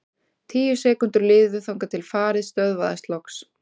Tíu sekúndur liðu þangað til farið stöðvaðist loks.